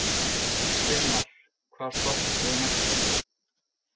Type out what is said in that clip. Steinmar, hvaða stoppistöð er næst mér?